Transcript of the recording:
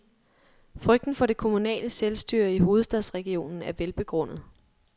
Frygten for det kommunale selvstyre i hovedstadsregionen er velbegrundet.